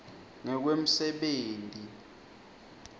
ngekwemsebenti